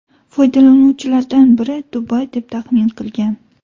Foydalanuvchilardan biri Dubay deb taxmin qilgan.